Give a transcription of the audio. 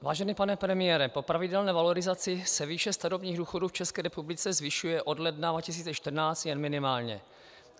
Vážený pane premiére, po pravidelné valorizaci se výše starobních důchodů v České republice zvyšuje od ledna 2014 jen minimálně.